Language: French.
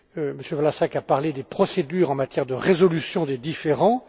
M. Vlasák a parlé des procédures en matière de résolution des différends.